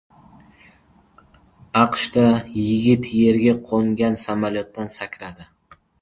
AQShda yigit yerga qo‘ngan samolyotdan sakradi.